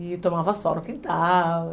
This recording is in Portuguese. E tomava sol no quintal.